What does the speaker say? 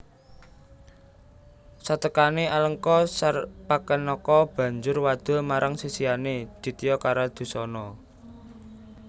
Satekané Alengka Sarpakenaka banjur wadul marang sisihané Ditya Karadusana